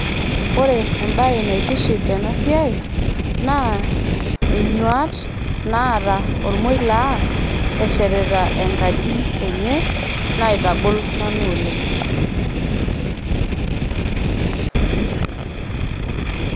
ore ebae naitiship tena siai, naa inyuaat naata ormoila eshetita enkaji enye, naitagol nanu oleng.